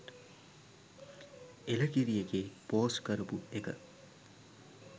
එලකිරි එකේ පෝස්ට් කරපු එක